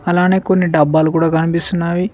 అలానే కొన్ని డబ్బాలు కూడా కనిపిస్తున్నావి.